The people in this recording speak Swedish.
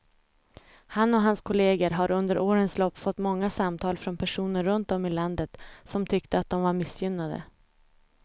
Han och hans kolleger har under årens lopp fått många samtal från personer runt om i landet som tyckte att de var missgynnade.